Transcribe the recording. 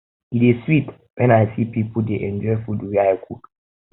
e dey sweet um when i see my pipo dey enjoy food wey i cook